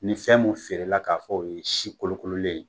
Nin fɛn mun feere la k'a fɔ o ye si kolokololen ye